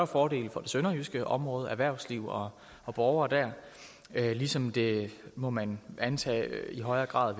fordele for det sønderjyske område erhvervslivet og borgerne der ligesom det må man antage i højere grad